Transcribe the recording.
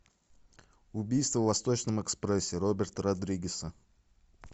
убийство в восточном экспрессе роберта родригеса